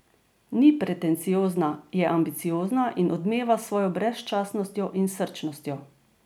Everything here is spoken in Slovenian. Ni pretenciozna, je pa ambiciozna in odmeva s svojo brezčasnostjo in srčnostjo.